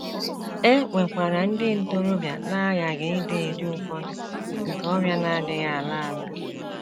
E nwekwara ndị ntorobịa na - aghaghị idi ụdị ụfọdụ nke ọrịa na - adịghị ala ala.